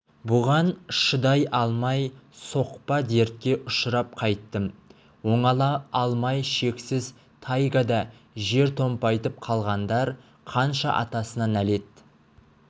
бұған шыдай алмай соқпа дертке ұшырап қайтып оңала алмай шексіз тайгада жер томпайтып қалғандар қанша атасына нәлет